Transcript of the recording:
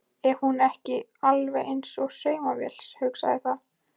Er hún ekki alveg eins og saumavél, hugsaði það.